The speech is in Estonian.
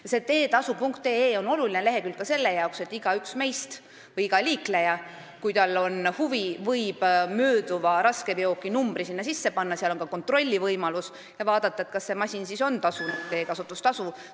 Lehekülg teetasu.ee on oluline ka sellepärast, et igaüks meist või iga liikleja, kellel on huvi, võib mööduva raskeveoki numbri sinna sisse panna ja vaadata, kas see masin on tasunud teekasutustasu.